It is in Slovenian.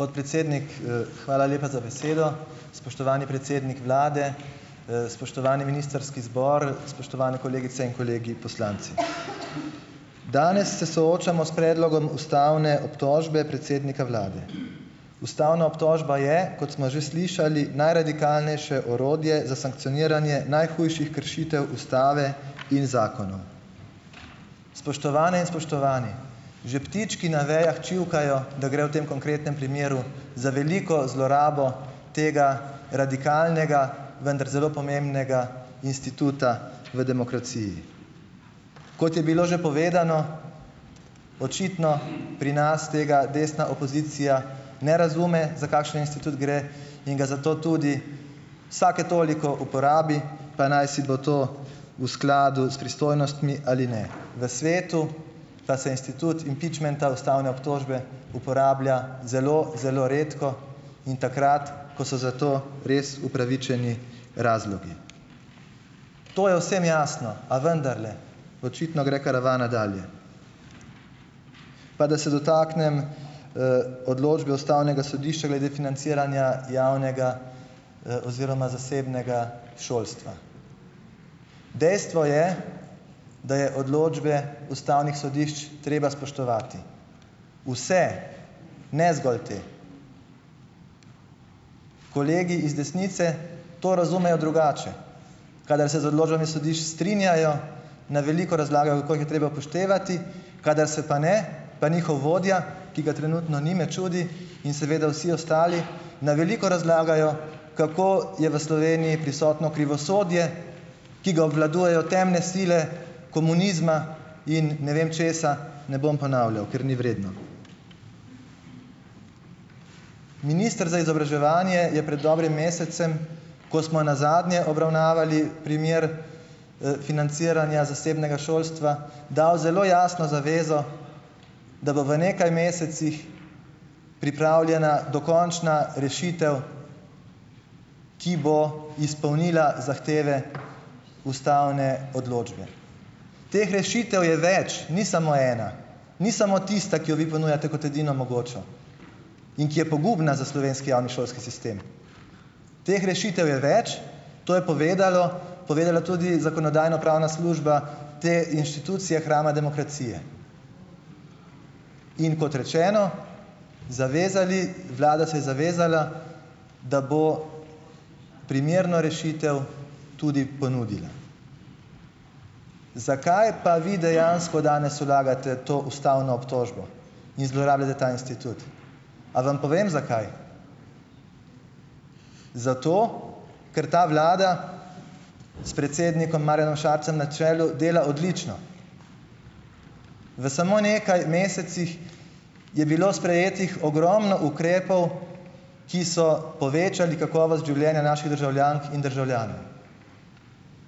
Podpredsednik, hvala lepa za besedo. Spoštovani predsednik vlade, spoštovani ministrski zbor, spoštovane kolegice in kolegi poslanci. Danes se soočamo s predlogom ustavne obtožbe predsednika vlade. Ustavna obtožba je, kot smo že slišali, najradikalnejše orodje za sankcioniranje najhujših kršitev ustave in zakonov. Spoštovane in spoštovani, že ptički na vejah čivkajo, da gre v tem konkretnem primeru za veliko zlorabo tega radikalnega, vendar zelo pomembnega instituta v demokraciji. Kot je bilo že povedano, očitno pri nas tega desna opozicija ne razume, za kakšen institut gre, in ga zato tudi vsake toliko uporabi, pa najsi bo to v skladu s pristojnostmi ali ne. V svetu pa se institut impičmenta, ustavne obtožbe uporablja zelo, zelo redko in takrat, ko so za to res upravičeni razlogi. To je vsem jasno, a vendarle očitno gre karavana dalje. Pa da se dotaknem, odločbe ustavnega sodišča glede financiranja javnega, oziroma zasebnega šolstva. Dejstvo je, da je odločbe ustavnih sodišč treba spoštovati, vse, ne zgolj te. Kolegi iz desnice to razumejo drugače. Kadar se z odločbami sodišč strinjajo, na veliko razlagajo, kako jih je treba upoštevati, kadar se pa ne, pa njihov vodja, ki ga trenutno ni, me čudi, in seveda vsi ostali na veliko razlagajo, kako je v Sloveniji prisotno krivosodje, ki ga obvladujejo temne sile komunizma in ne vem česa, ne bom ponavljal, ker ni vredno. Minister za izobraževanje je pred dobrim mesecem, ko smo nazadnje obravnavali primer, financiranja zasebnega šolstva, dal zelo jasno zavezo, da bo v nekaj mesecih pripravljena dokončna rešitev, ki bo izpolnila zahteve ustavne odločbe. Teh rešitev je več, ni samo ena, ni samo tista, ki jo vi ponujate kot edino mogočo in ki je pogubna za slovenski javni šolski sistem. Teh rešitev je več, to je povedalo povedala tudi zakonodajno-pravna služba te institucije hrama demokracije. In kot rečeno, zavezali, vlada saj zavezala, da bo primerno rešitev tudi ponudila. Zakaj pa vi dejansko danes vlagate to ustavno obtožbo in zlorabljate ta institut? A vam povem, zakaj? Zato, ker ta vlada s predsednikom Marjanom Šarcem na čelu dela odlično. V samo nekaj mesecih je bilo sprejetih ogromno ukrepov, ki so povečali kakovost življenja naših državljank in državljanov.